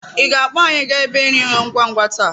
Ị ga-akpọ anyị gaa ebe nri ngwa ngwa taa?